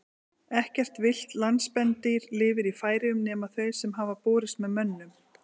Ekkert villt landspendýr lifir í Færeyjum nema þau sem hafa borist með mönnum.